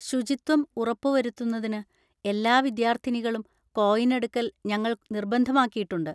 ശുചിത്വം ഉറപ്പുവരുത്തുന്നതിന്, എല്ലാ വിദ്യാർത്ഥിനികളും കോയിൻ എടുക്കൽ ഞങ്ങൾ നിർബന്ധമാക്കിയിട്ടുണ്ട്.